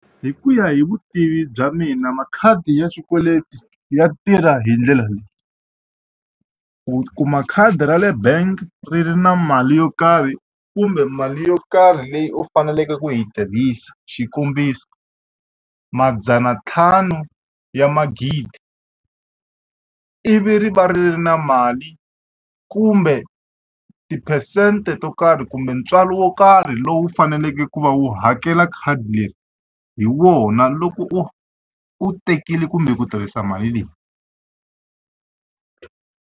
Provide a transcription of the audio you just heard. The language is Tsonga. Hi ku ya hi vutivi bya mina makhadi ya swikweleti ya tirha hi ndlela leyi. U kuma khadi ra le bank ri ri na mali yo karhi kumbe mali yo karhi leyi u faneleke ku yi tirhisa. Xikombiso madzana ntlhanu ya magidi, ivi ri va ri ri na mali kumbe tiphesente to karhi kumbe ntswalo wo karhi lowu u faneleke ku va u hakela khadi leri hi wona loko u u tekile kumbe ku tirhisa mali leyi.